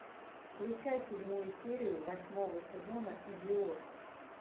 включай седьмую серию восьмого сезона идиот